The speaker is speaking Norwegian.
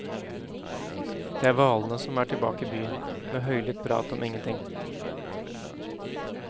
Det er hvalene som er tilbake i byen med høylytt prat om ingenting.